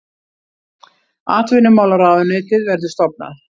Atvinnumálaráðuneytið verður stofnað